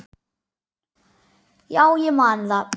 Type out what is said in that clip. Já, ég man það.